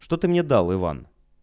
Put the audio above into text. что ты мне дал иван